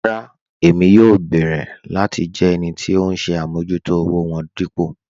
Rárá Ẹ̀mí yóò bẹ̀ẹ̀rẹ̀ láti jẹ́ ẹnì tì ọ̀hun ṣè àmọ̀jútò òwò wọn dípò